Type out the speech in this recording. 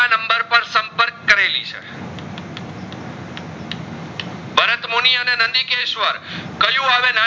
ભરતમુની અને નંદીકેશસ્વર કયું આવે